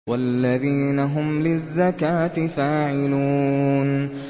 وَالَّذِينَ هُمْ لِلزَّكَاةِ فَاعِلُونَ